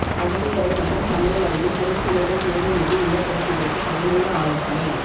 படுக்கையறை மற்றும் சமையலறையில் திரைச்சீலைகள் தேர்வு மீது இல்லத்தரசிகளுக்கு பயனுள்ள ஆலோசனை